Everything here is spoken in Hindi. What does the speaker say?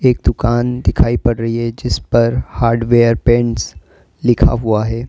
एक दुकान दिखाई पड़ रही हैं जिस पर हार्डवेयर पेंट्स लिखा हुआ हैं।